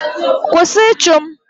Kwụsị ịchụ m!